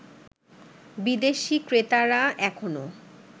বিদেশী ক্রেতারা এখনও